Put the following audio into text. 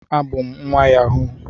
abum nwa yahoo